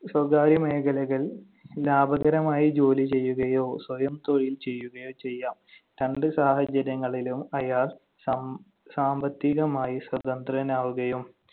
സ്വകാര്യ മേഖലകൾ ലാഭകരമായി ജോലി ചെയ്യുകയോ സ്വയം തൊഴിൽ ചെയ്യുകയോ ചെയ്യാം. രണ്ട് സാഹചര്യങ്ങളിലും അയാൾ സം~ സാമ്പത്തികമായി സ്വതന്ത്രനാവുകയും